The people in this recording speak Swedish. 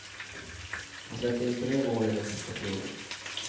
Han släppte in tre mål i den sista perioden.